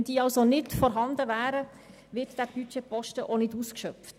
Sind diese nicht vorhanden, wird der Budgetposten auch nicht ausgeschöpft.